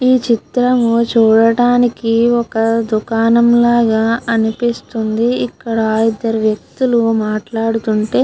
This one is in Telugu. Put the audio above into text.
ఈ చిత్రము చూడడానికి ఒక దుకాణము లాగా అనిపిస్తుంది. ఇక్కడ ఇద్దరు వ్యక్తులు మాట్లాడుతుంటే --